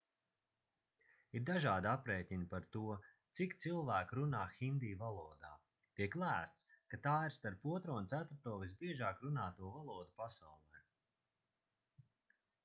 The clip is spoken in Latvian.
ir dažādi aprēķini par to cik cilvēku runā hindi valodā tiek lēsts ka tā ir starp otro un ceturto visbiežāk runāto valodu pasaulē